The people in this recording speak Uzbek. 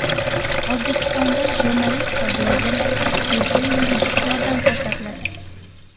O‘zbekistonda jurnalist va blogerlarga bepul yuridik yordam ko‘rsatiladi.